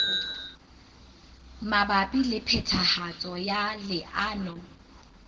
mabapi le phethahatso ya leano